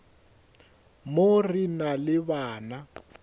mo re na le bana